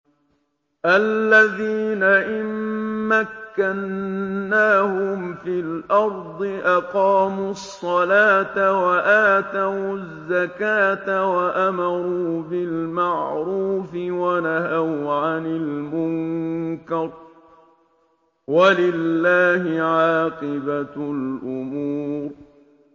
الَّذِينَ إِن مَّكَّنَّاهُمْ فِي الْأَرْضِ أَقَامُوا الصَّلَاةَ وَآتَوُا الزَّكَاةَ وَأَمَرُوا بِالْمَعْرُوفِ وَنَهَوْا عَنِ الْمُنكَرِ ۗ وَلِلَّهِ عَاقِبَةُ الْأُمُورِ